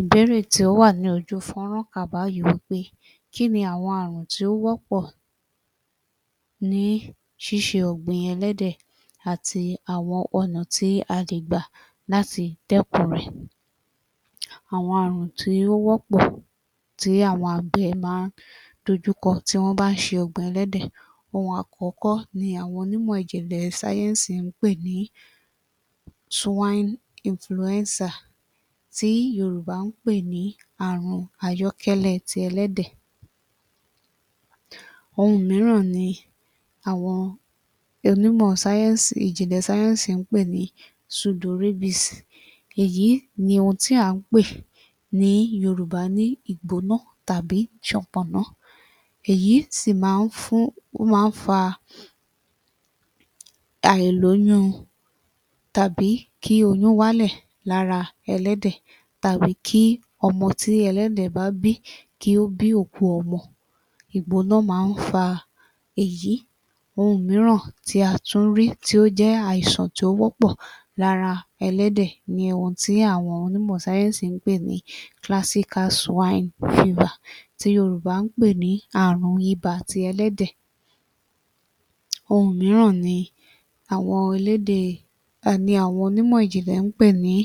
Ìbéèrè tí ó wà ní ojú fọ́nrán pé ki ní àwọn àrùn tí ó wọ́pọ̀ ní ṣíṣe ọ̀gbìn ẹlẹ́dẹ̀ àti àwọn ọ̀nà tí a lè gbà láti dẹ́kun rẹ̀. Àwọn àrùn tí ó wọ́pọ̀ tí àwọn àgbẹ̀ má ń dojúkọ tí wọ́n bá ń ṣe ọ̀gbìn ẹlẹ́dẹ̀. Ohun àkọ́kọ́ ni àwọn onímọ̀ ìjìnlẹ̀ sáyẹ́ǹsì ń pè ní swine influencer tí Yorùbá ń pè ní àrùn ayọ́kẹ́lẹ́ ti ẹlẹ́dẹ̀. Ohun míràn ni àwọn onímọ̀ sáyẹ́ǹsì ìjìnlẹ̀ sáyẹ́ǹsì ń pè ní pseudorabbies, èyí ni ohun tí à ń pè ní Yorùbá ní ìgbóná tàbí sànpọ̀nná, èyí sì má ń fún, ó má ń fa àìlóyún àbí kí oyún wálẹ̀ lára ẹlẹ́dẹ̀ àbí kí ọmọ tí ẹlẹ́dẹ̀ bá bí kí ó bí òkú ọmọ, ìgbóná má ń fa èyí. Ohun míràn tí a tún rí tí ó jẹ́ àìsàn tó wọ́pọ̀ lára ẹlẹ́dẹ̀ ni ohun tí àwọn onímọ̀ sáyẹ́ǹsì ń pè ní classical swine fever tí Yorùbá ń pè ní ààrùn ibà ti ẹlẹ́dẹ̀. Ohun míràn ni àwọn elédè ni àwọn onímọ̀ ìjìnlẹ̀ ń pè ní